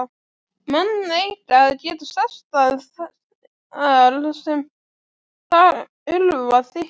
Menn eiga að geta sest að þar sem þurfa þykir.